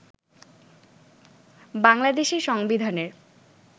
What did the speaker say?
বাংলাদেশের সংবিধানের